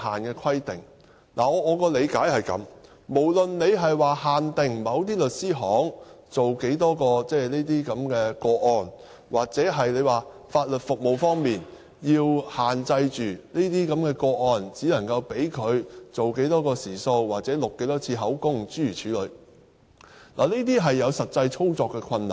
我的理解是這樣的，無論是限定某些律師行處理多少宗個案，又或是在法律服務方面，限制處理這些個案時只能用多少個時數、錄多少次口供等，這些也會有實際操作的困難。